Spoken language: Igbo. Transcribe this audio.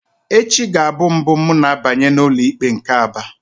Echi ga-abụ mbụ m na-abanye n'ụlọikpe nke Aba.